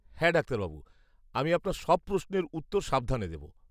হ্যাঁ ডাক্তারবাবু, আমি আপনার সব প্রশ্নের উত্তর সাবধানে দেব।